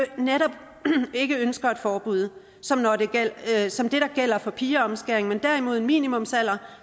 netop ikke ønsker et forbud som som det der gælder for pigeomskæring men derimod en minimumsalder